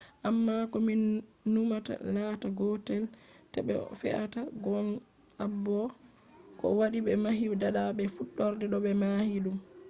amma ko min numata latta gotel be ko fe’ata gong abo? ko waɗi ɓe mahi fada be fuɗɗorde? no ɓe mahi ɗum?